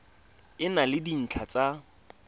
e na le dintlha tsa